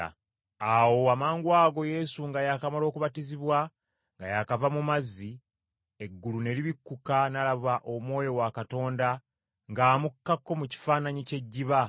Awo amangwago Yesu nga yakamala okubatizibwa nga yaakava mu mazzi, eggulu ne libikkuka n’alaba Omwoyo wa Katonda ng’amukkako mu kifaananyi ky’ejjiba.